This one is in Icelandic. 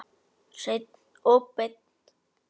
Hreinn og beinn.